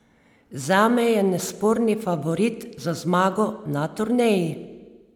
Zame je nesporni favorit za zmago na turneji.